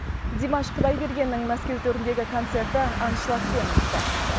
димаш құдайбергеннің мәскеу төріндегі концерті аншлагпен өтті